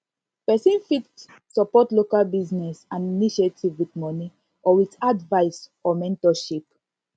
persin fit support local business and initiative with money or with advice or mentorship